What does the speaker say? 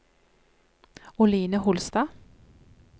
Oline Holstad